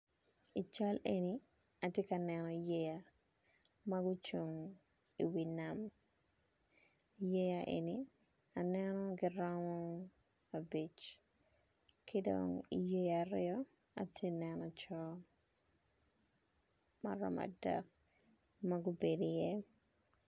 I cal eni atye ka neno yeya ma gucung iwi nam yeya eni aneno giromo gin abic ki dong iye yeya aryo atye ka neno co ma romo adek ma gubedo iye.